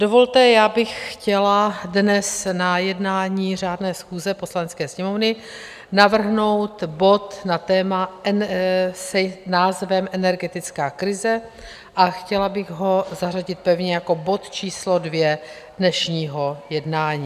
Dovolte, já bych chtěla dnes na jednání řádné schůze Poslanecké sněmovny navrhnout bod na téma s názvem Energetická krize a chtěla bych ho zařadit pevně jako bod číslo 2 dnešního jednání.